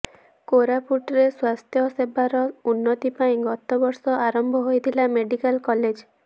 କୋରାପୁଟରେ ସ୍ୱାସ୍ଥ୍ୟସେବାର ଉନ୍ନତି ପାଇଁ ଗତବର୍ଷ ଆରମ୍ଭ ହୋଇଥିଲା ମେଡିକାଲ କଲେଜ